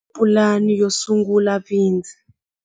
Va endlile pulani yo sungula bindzu.